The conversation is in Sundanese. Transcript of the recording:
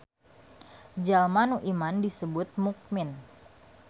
Jalma nu iman disebut mukmin.